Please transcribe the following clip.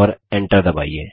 और Enter दबाइए